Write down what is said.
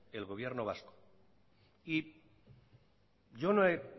el gobierno vasco y yo no he